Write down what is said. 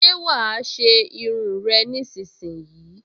Ṣé wàá ṣe irun rẹ nísinsìnyí!